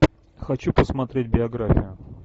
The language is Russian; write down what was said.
хочу посмотреть биографию